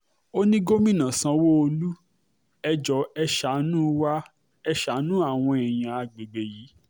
o ní gómìnà sanwó-olú ẹ̀ jóò ẹ̀ ṣàánú wá ẹ̀ ṣàánú àwọn èèyàn agbègbè yìí